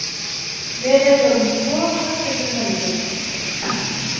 Við eigum tvo kosti fyrir höndum.